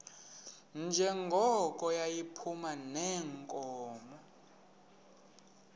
njengoko yayiphuma neenkomo